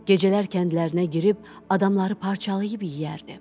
Gecələr kəndlərinə girib adamları parçalayıb yeyərdi.